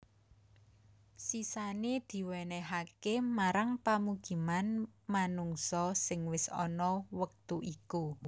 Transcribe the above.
Sisané diwènèhaké marang pamukiman manungsa sing wis ana wektu iku